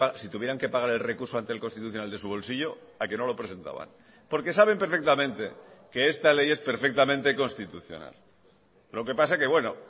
si tuvieran que pagar el recurso ante el constitucional de su bolsillo a qué no lo presentaban porque saben perfectamente que esta ley es perfectamente constitucional lo que pasa que bueno